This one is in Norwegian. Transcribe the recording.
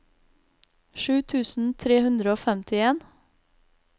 sju tusen tre hundre og femtien